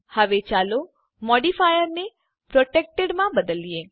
હવે ચાલો મોડીફાયર ને પ્રોટેક્ટેડ માં બદલીએ